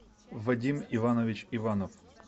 вадим иванович иванов